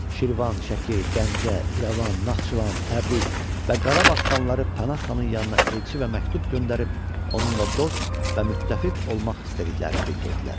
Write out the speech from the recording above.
Şirvan, Şəki, Gəncə, İrəvan, Naxçıvan, Təbriz və Qarabağ xanları Pənah xanın yanına elçi və məktub göndərib onunla dost və müttəfiq olmaq istədiklərini bildirdilər.